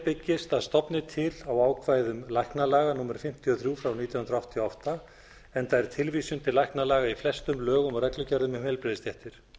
byggist að stofni til á ákvæðum læknalaga númer fimmtíu og þrjú nítján hundruð áttatíu og átta enda er tilvísun til læknalaga í flestum lögum og reglugerðum um heilbrigðisstéttir